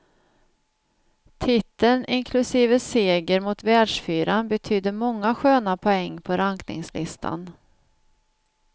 Titeln inklusive seger mot världsfyran betyder många sköna poäng på rankingslistan.